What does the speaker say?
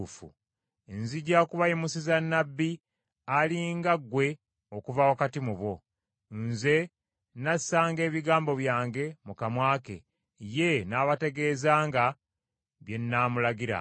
Nzija kubayimusiza Nnabbi ali nga ggwe okuva wakati mu bo; Nze nnaasanga ebigambo byange mu kammwe ke, ye n’abategeezanga bye nnaamulagiranga.